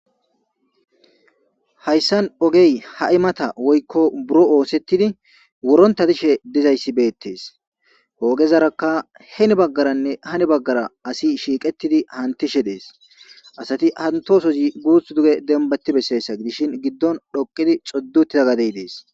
Hayssan oge hay mata woykko buro oosetidi wuronta dishe dizayssi beetees. He ogezarakka heeni bagaaranne hani bagagara asi shiiqetidi hamutishe dees. hamutosozi guuthi duge dembba gidi besishin gidon xoqidi xoddi utida gade des.